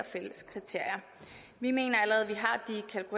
fælles kriterier vi mener